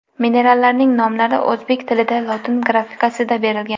Minerallarning nomlari o‘zbek tilida lotin grafikasida berilgan.